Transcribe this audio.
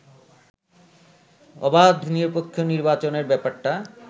অবাধ নিরপেক্ষ নির্বাচনের ব্যাপারটা